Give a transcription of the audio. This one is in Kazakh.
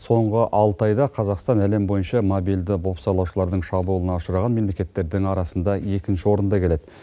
соңғы алты айда қазақстан әлем бойынша мобильді бопсалаушылардың шабуылына ұшыраған мемлекеттердің арасында екінші орында келеді